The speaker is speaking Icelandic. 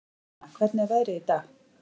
Hermína, hvernig er veðrið í dag?